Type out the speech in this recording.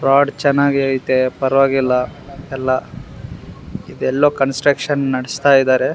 Road ಚೆನ್ನಗೈತೆ ಪರ್ವಾಗಿಲ್ಲ ಎಲ್ಲ ಎಲ್ಲೋ ಕನ್ಸಸ್ಟ್ರಕ್ಷನ್ ನಡಿಸ್ತಾ ಇದಾರೆ.